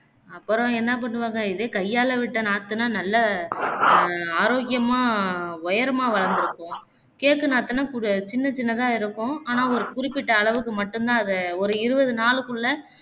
அப்பறம் என்ன பண்ணுவாங்க இதுவே கைய்யால விட்ட நாத்துனா நல்ல அஹ் ஆரோக்கியமா உயரமா வளர்ந்திருக்கும் cake நாத்துனா குருசின்ன சின்னதா இருக்கும் ஆனா ஒரு குறிப்பிட்ட அளவுக்கு மட்டும்தான் அதை ஒரு இருபது நாளுக்குள்ள